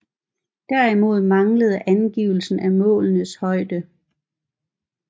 Derimod manglede angivelse af målenes højde